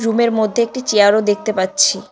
Room -এর মধ্যে একটি চেয়ার -ও দেখতে পাচ্ছি।